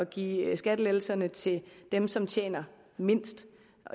give skattelettelserne til dem som tjener mindst